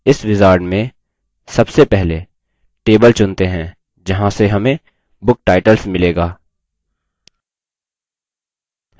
इस wizard में सबसे पहले table चुनते हैं जहाँ से हमें book titles मिलेगा